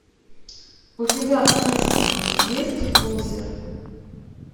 у тебя в списке есть лузер